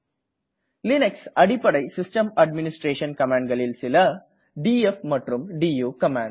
Linux அடிப்படை system administration கமான்டனளில் சில டிஎஃப் மற்றும் டு கமான்ட்